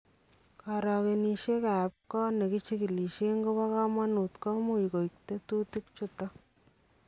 Karookenisyenik ab koot nekichikilishen kobo kamanuut komuch koit tetutik chuton